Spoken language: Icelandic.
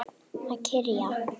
Að kyrja.